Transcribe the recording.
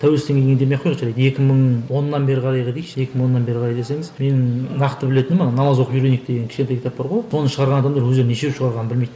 тәуелсіздіктен кейін демей ақ қойыңыз жарайды екі мың оннан бері қарайғы дейікші екі мың бері қарай десеңіз менің нақты білетінім ана намаз оқып үйренейік деген кішкентай кітап бар ғой оны шығарған адамдар өздері нешеу шығарғанын білмейді